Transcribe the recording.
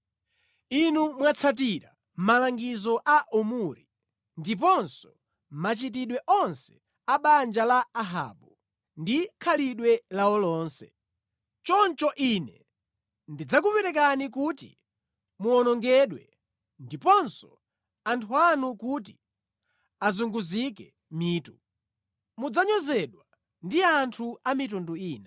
Inu mwatsatira malangizo a Omuri ndiponso machitidwe onse a banja la Ahabu, ndi khalidwe lawo lonse. Choncho Ine ndidzakuperekani kuti muwonongedwe ndiponso anthu anu kuti azunguzike mitu; mudzanyozedwa ndi anthu a mitundu ina.”